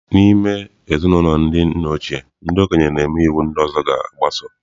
N'ime ezinụlọ ndị nna ochie, ndị okenye na-eme iwu ndị ọzọ ga-agbaso.